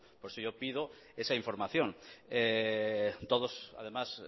por eso yo pido esa información todos además